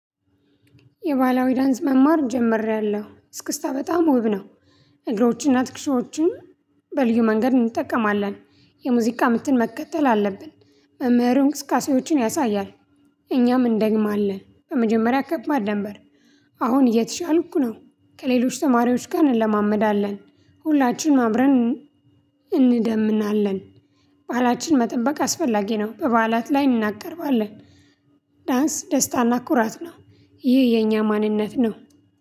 የባላዊ ዳንስ መማር ጀምሬያለሁ እስክስታ በጣም ውብ ነው። እግሮችንና ትክሽዎችን በልዩ መንገድ እንጠቀማለን። የሙዚቃ ምትን መከተል አለብን። መምህሩ እንቅስቃሴዎችን ያሳያል። እኛም እንደግም አለን በመጀመሪያ ከትማር ነበር። አሁን እየተሻልኩ ነው። ከሌሎች ተማሪዎች ጋር እንለማመዳለን ሁላችንም አብረን እንደምናለን። ባህላችን መጠበቅ አስፈላጊ ነው። በበዓላት ላይ እናቀርባለን። ዳንስ ደስታና ኩራት ነው። ይህ የኛ ማንነት ነው።